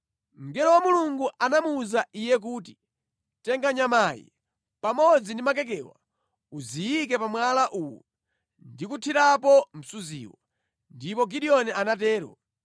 Mngelo wa Mulungu anamuwuza iye kuti, “Tenga nyamayi pamodzi ndi makekewa, uziyike pa mwala uwu ndi kuthirapo msuziwu.” Ndipo Gideoni anatero.